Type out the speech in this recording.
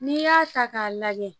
N'i y'a ta k'a lajɛ